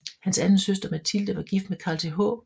Hans anden søster Mathilde var gift med Carl Th